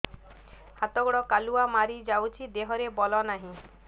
ହାତ ଗୋଡ଼ କାଲୁଆ ମାରି ଯାଉଛି ଦେହରେ ବଳ ନାହିଁ